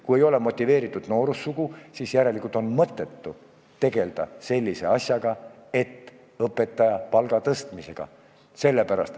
Kui ei ole motiveeritud noorsugu, siis on järelikult mõttetu tegelda sellise asjaga nagu õpetaja palga tõstmine.